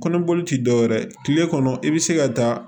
Kɔnɔboli ti dɔwɛrɛ ye kile kɔnɔ i bi se ka taa